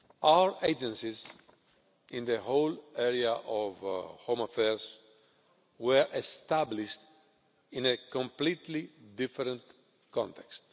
Our agencies in the whole area of home affairs were established in a completely different context.